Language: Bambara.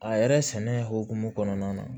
A yɛrɛ sɛnɛ hokumu kɔnɔna na